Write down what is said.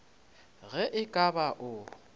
ge e ka ba o